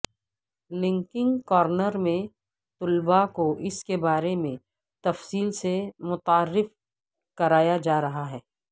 Lankan corner میں طلبہ کو اسکے بارے میں تفصیل سے متعارف کرایاجارہاہے